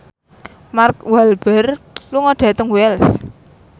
Mark Walberg lunga dhateng Wells